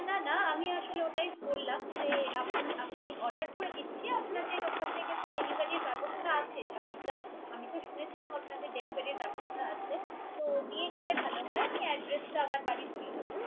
না না আমি আসলে ওটাই বলালম, যে আমি Order করে দিচ্ছি। আপনাদের ওখান Dileviry এর ব্যবস্থা আছে। আমি তো শুনেছিলাম। আপনাদের Dilivery র ব্যবস্থা আছে। তো দিয়ে গেলে ভালো হয়। আমি Address টা আমার বাড়ির বলে দিবো।